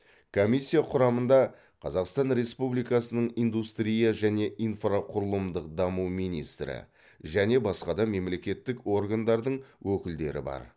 комиссия құрамында қазақстан республикасының индустрия және инфрақұрылымдық даму министрі және басқа да мемлекеттік органдардың өкілдері бар